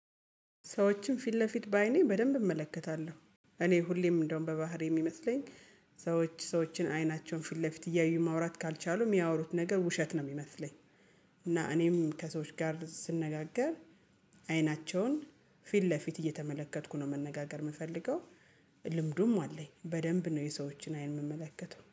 ሰዎችን ፊት ለፊት በአይኔ በደንብ እመለከታለሁ፣ እኔ ሁሌም እንደውም በባህር የሚመስለኝ፣ ሰዎች ሰዎችን አይናቸውን ፍለ ፊት እያዩ ማውራት ካልቻሉ የሚያወሩት ነገር ውሸት ነው የሚመስለኝ፣ እና እኔም ከሰዎች ጋር ስንነጋገር አይናቸውን ፊት ለፊት እየተመለከትኩ ነው መነጋገር የምፈልገው፣ ልምዱም አለኝ፣ በደንብ ነው የሰዎችን አይን የምመለከተው።